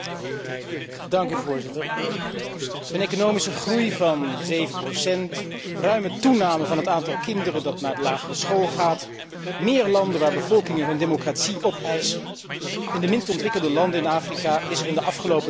Een economische groei van 7, een ruime toename van het aantal kinderen dat naar de lagere school gaat, meer landen waar bevolkingen hun democratie opeisen in de minst ontwikkelde landen in Afrika is er in de afgelopen 10 jaar veel vooruitgang geboekt.